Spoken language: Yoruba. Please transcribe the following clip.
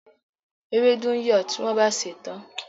Ewédú ń yọ̀ tí wọ́n bá sèé tán.